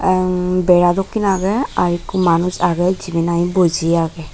emm bera dokken agey arokku manuj agey jibey nahi boji agey.